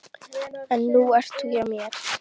En nú ert þú hjá mér.